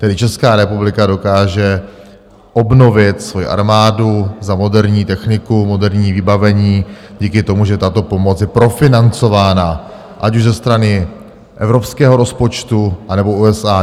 Tedy Česká republika dokáže obnovit svoji armádu za moderní techniku, moderní vybavení, díky tomu, že tato pomoc je profinancována, ať už ze strany evropského rozpočtu, anebo USA.